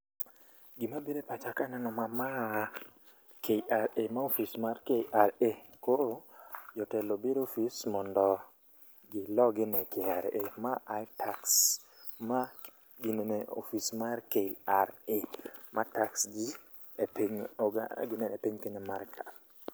Gima bire pacha kaneno ma, ma a KRA, ma ofis mar KRA. Koro jotelo obire ofis mondo gilo gino e KRA, ma iTax, ma ginene ofis mar KRA ma tax ji e piny oga ginene piny Kenya mar ka a.